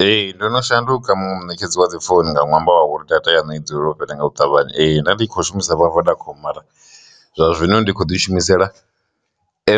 Ee, ndo no shanduka munetshedzi wa dzi founu nga ṅwambo wa uri data yanu i dzulela u fhela nga u ṱavhanya, nda ndi kho shumisa vodacom mara zwa zwino ndi kho ḓi shumisela